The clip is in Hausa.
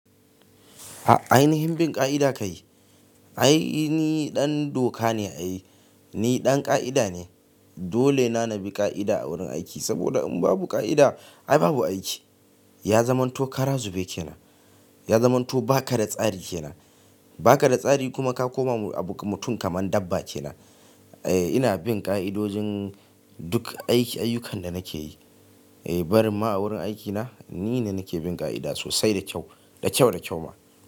Ai ainihin bin ƙa'ida kayi. Ai ni ɗan doka ne ai, ni ɗan ƙa'ida ne. Dolena na bi ƙa'ida a wurin aiki saboda in babu ƙa'ida ai babu aiki. Ya zamanto kara zube kenan, ya zamanto baka da tsari kenan, baka da tsari kuma ka koma abu mutum kaman dabba kenan. Eh ina bin ƙa'idojin duk aiki, ayyukan da nake yi. Eh barin ma a wurin aikina ni ne nake bin ƙa'ida sosai da kyau, da kyau da kyau ma.